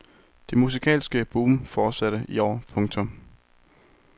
Det musikalske boom fortsatte i år. punktum